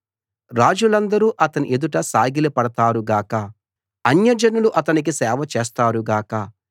రాజులందరూ అతని ఎదుట సాగిలపడతారు గాక అన్యజనాలు అతనికి సేవ చేస్తారు గాక